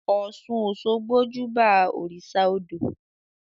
Ọ́sun-òṣogbo júbà òrìṣà odò